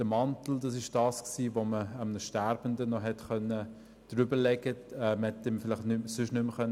Der Mantel war der Gegenstand, den man einem Sterbenden noch umlegen konnte, sonst konnte man ihm vielleicht nicht mehr helfen.